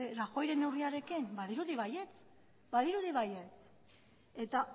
rajoyren neurriarekin badirudi baietz badirudi baietz eta